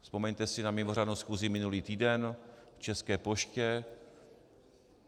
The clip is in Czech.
Vzpomeňte si na mimořádnou schůzi minulý týden k České poště.